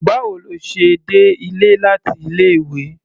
Báwo lo ṣe dé ilé láti ilé-ìwé?